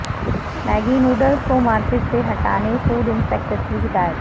Maggi noodles کو market سے ہٹانے فوڈ انسپکٹرس کی ہدایت